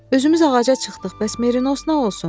Özümüz ağaca çıxdıq, bəs Merinos nə olsun?